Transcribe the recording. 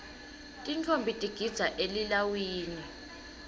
tintfombi tigidza elilawini